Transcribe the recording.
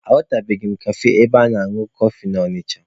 Ahụtubeghị m kafe ebe a na-añụ kọfị na Ọnịcha.